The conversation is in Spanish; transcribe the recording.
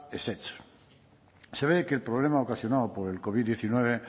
ezetz se ve que el problema ocasionado por el covid diecinueve